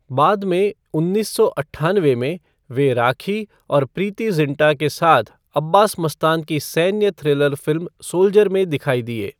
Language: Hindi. बाद में उन्नीस सौ अट्ठानवे में, वे राखी और प्रीति ज़िंटा के साथ अब्बास मस्तान की सैन्य थ्रिलर फिल्म सोल्जर में दिखाई दिए।